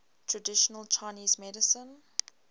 traditional chinese medicine